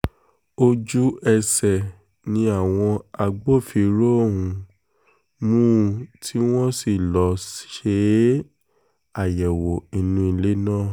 ojú-ẹsẹ̀ ni àwọn agbófinró um mú un tí wọ́n sì lọ́ọ́ ṣe um àyẹ̀wò inú ilé rẹ̀